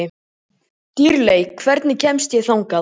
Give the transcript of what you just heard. Dýrley, hvernig kemst ég þangað?